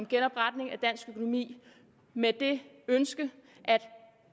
genopretning af dansk økonomi med det ønske at